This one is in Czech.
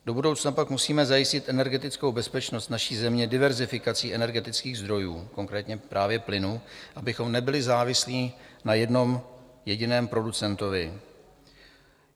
Do budoucna pak musíme zajistit energetickou bezpečnost naší země diverzifikací energetických zdrojů, konkrétně právě plynu, abychom nebyli závislí na jednom jediném producentovi.